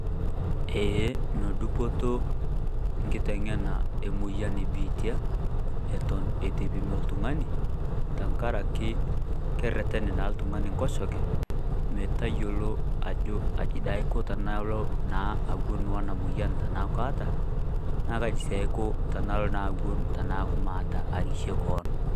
Eeh no dupoto nkiteng'ena emoyia e biitia eton etepimi iltung'ani tang'araki kereteen naa ltung'ani nkosheke meetayielo ajo aji aiko tanaalo naa awuen ona moyian tanaa kaata, naa kaji si aiko tanaalo naa awuen tanaaku maata arishe koon.